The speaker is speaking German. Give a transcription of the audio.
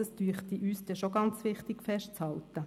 Dies scheint uns ganz wichtig festzuhalten.